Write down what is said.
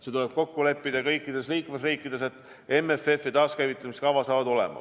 See tuleb kokku leppida kõikides liikmesriikides, et MFF ja taaskäivitamiskava saavad olema.